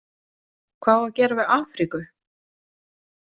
Hvað á að gera við Afríku?